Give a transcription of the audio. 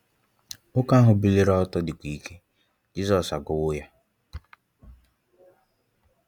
Nwoke ahụ biliri ọtọ, dịkwa ike. Jizọs agwọwo ya.